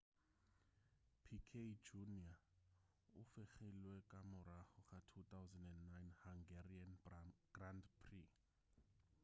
piquet jr o fegilwe ka morago ga 2009 hungarian grand prix